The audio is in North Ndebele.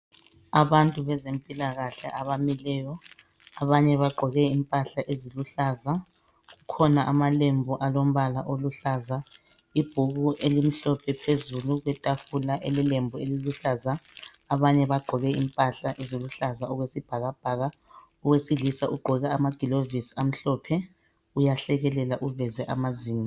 Abantu bezempila kahle abamileyo abanye baqgoke impahla eziluhlaza kukhona amalembu alombala oluhlaza ibhuku elimhlophe phezulu kwetafula elilembu eliluhlaza abanye baqgoke impahla ezikuhlaza okwesibhakabhaka owesilisa uqgoke amagilovisi amhlophe uyahlekelela uveze amazinyo